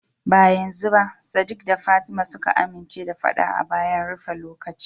Ba tukuna sadiq da fatima suka amince da fada a filin bayan rufe lokaci.